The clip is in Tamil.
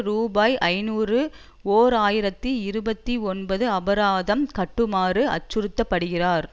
ரூபாய் ஐநூறு ஓர் ஆயிரத்தி இருபத்தி ஒன்பது அபராதம் கட்டுமாறு அச்சுறுத்தப்படுகிறார்